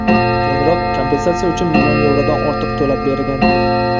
Keyinroq kompensatsiya uchun million yevrodan ortiq to‘lab bergan.